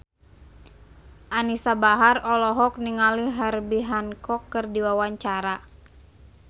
Anisa Bahar olohok ningali Herbie Hancock keur diwawancara